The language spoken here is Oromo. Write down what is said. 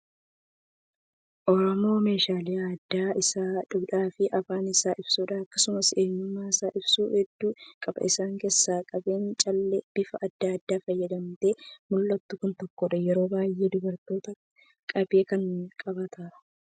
Oromoon meeshaalee aadaa isaa, duudhaa fi afaan isaa ibsu akkasumas eenyummaasaa ibsu hedduu qaba. Isaan keessaa qabeen callee bifa adda addaan faayamtee mul'attu kun tokkodha. Yeroo baay'ee dubartootatu qabee kana qabata.